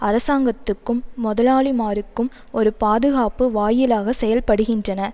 அரசாங்கத்துக்கும் முதலாளிமாருக்கும் ஒரு பாதுகாப்பு வாயிலாக செயற்படுகின்றன